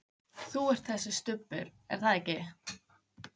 Þú ert þessi Stubbur, er það ekki?